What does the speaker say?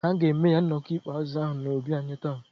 Ha ga-eme ya nnọkọ mkpezi ahụ n'obi anyị taa.